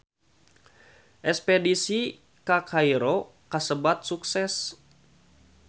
Espedisi ka Kairo kasebat sukses